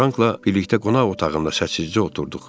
Frankla birlikdə qonaq otağında səssizcə oturduq.